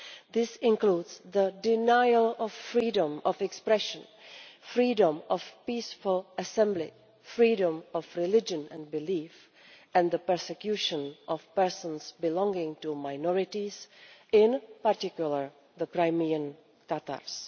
This includes the denial of freedom of expression, freedom of peaceful assembly, freedom of religion and belief, and the persecution of persons belonging to minorities, in particular the Crimean Tatars.